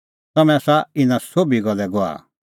तम्हैं आसा इना सोभी गल्ले गवाह